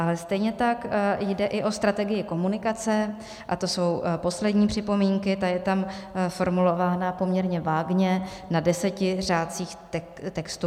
A stejně tak jde i o strategii komunikace, a to jsou poslední připomínky, ta je tam formulována poměrně vágně na deseti řádcích textu.